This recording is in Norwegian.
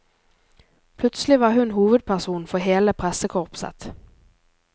Plutselig var hun hovedperson for hele pressekorpset.